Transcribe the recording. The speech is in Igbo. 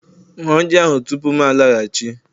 Hun ji ahụ tupu m laghachi!